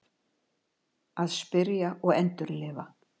Að spyrja og endurlifa